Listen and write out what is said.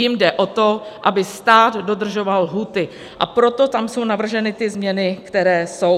Jim jde o to, aby stát dodržoval lhůty, a proto tam jsou navrženy ty změny, které jsou.